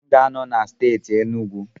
M ga-anọ na steeti Enugu